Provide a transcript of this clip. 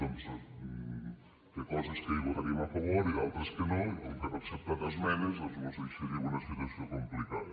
té coses que hi votaríem a favor i d’altres que no i com que no han acceptat esmenes doncs mos deixaria en una situació complicada